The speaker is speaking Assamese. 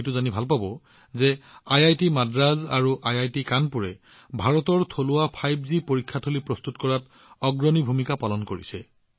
আপোনালোকে এইটো জানিও সুখী হব যে আইআইটি মাদ্ৰাজ আৰু আইআইটি কানপুৰে ভাৰতৰ থলুৱা ৫জি টেষ্টবেড প্ৰস্তুত কৰাত অগ্ৰণী ভূমিকা পালন কৰিছে